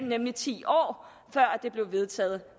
nemlig ti år før den blev vedtaget